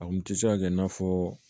A kun tɛ se ka kɛ i n'a fɔ